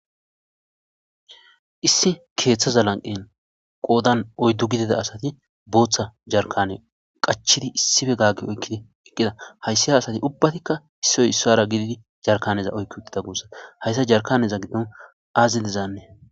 Issi kdthaza lanqen qodan oydu gizizza asati botha jarkana qachidi issippe gage oyqidi hayssi asati issippe ubatikka issoy issara gididi hejarkaneta oyqi utida gussi he jarkanin azzi dizan